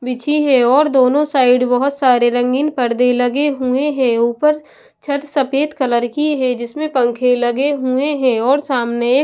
बिछी है और दोनों साइड बहोत सारे रंगीन पर्दे लगे हुए हैं। ऊपर छत सफेद कलर की हैं जिसमें पंखे लगे हुए हैं और सामने एक--